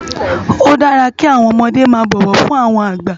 Ó dàrá ki áwòn òmòdé má bòwò fún áwòn àgbá